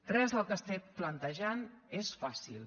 res del que estem plantejant és fàcil